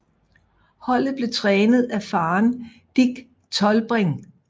Holdet blev trænet af faren Dick Tollbring